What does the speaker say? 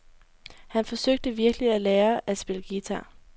Han forsøgte virkelig at lære at spille guitar.